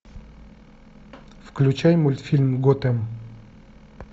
включай мультфильм готэм